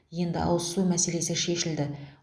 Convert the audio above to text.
енді ауызсу мәселесі шешілді